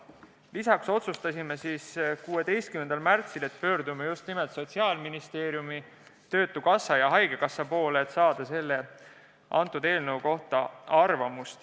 Lisaks otsustasime 16. märtsil, et pöördume just nimel Sotsiaalministeeriumi, töötukassa ja haigekassa poole, et saada selle eelnõu kohta arvamust.